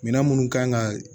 Minɛn minnu kan ka